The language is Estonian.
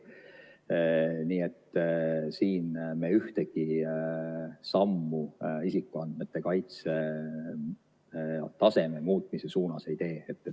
Nii et siin me ühtegi sammu isikuandmete kaitse taseme muutmise suunas ei tee.